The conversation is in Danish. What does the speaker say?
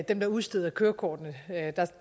dem der udsteder kørekortene